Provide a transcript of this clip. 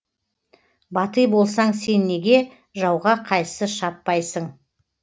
батый болсаң сен неге жауға қайсы шаппайсың